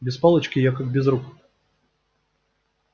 без палочки я как без рук